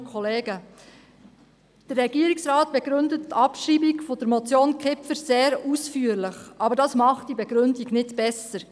Der Regierungsrat begründet die Abschreibung der Motion Kipfer sehr ausführlich, aber dadurch wird die Begründung nicht besser.